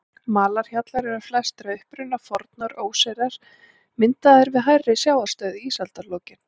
Malarhjallar eru flestir að uppruna fornar óseyrar, myndaðir við hærri sjávarstöðu í ísaldarlokin.